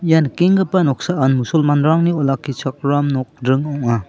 ia nikenggipa noksaan mosolman rangni olakkichakram nokdring ong·a.